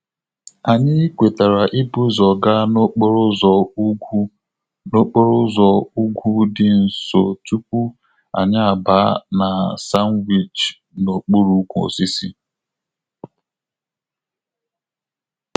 Anyị kwetara ibu ụzọ gaa n'okporo ụzọ ugwu n'okporo ụzọ ugwu dị nso tupu anyị abaa na sandwich n'okpuru ukwu osisi